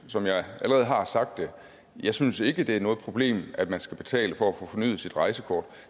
som jeg allerede har sagt jeg synes ikke at det er noget problem at man skal betale for at få fornyet sit rejsekort